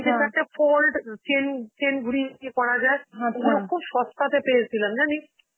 সেটাতে fold um chain~ chain ঘুরিয়ে ঘুরিয়ে করা যায়, ওগুলো খুব সস্তা তে পেয়েছিলাম জানিস?